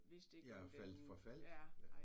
Ja og faldt forfald